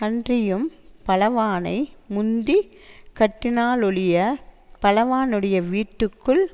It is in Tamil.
அன்றியும் பலவானை முந்தி கட்டினாலொழியப் பலவானுடைய வீட்டுக்குள்